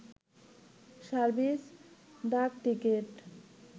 service ডাকটিকেট